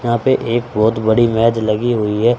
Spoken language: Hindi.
यहां पे एक बहोत बड़ी मेज लगी हुई है।